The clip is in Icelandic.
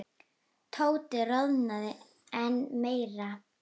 Tóti roðnaði enn meira.